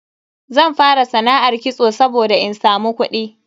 Zan fara sana'ar kitso saboda in samu kudi.